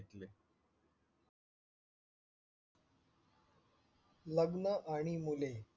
लग्न आणि मुले